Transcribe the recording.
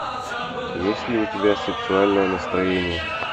есть ли у тебя сексуальное настроение